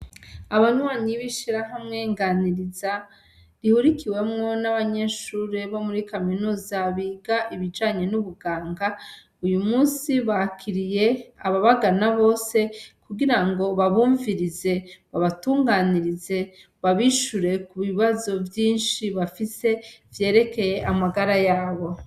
Abanywanyi b'ishirahamwe Nganiriza rihurikiwemwo n'abanyeshure bo muri kaminuza biga ibijanye n'ubuganga, uyu munsi bakiriye ababagana bose kugira ngo babumvirize, babatunganirize, babishure ku bibazo vyinshi bafise vyerekeye amagara yabo.